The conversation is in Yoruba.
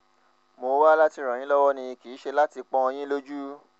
mo wá láti ràn yín lọ́wọ́ ni kì í ṣe láti pọ́n yín lójú